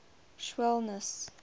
schwellnus